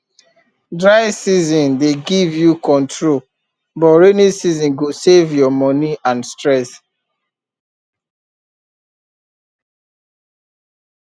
dry season dey give you control but rainy season go save your money and stress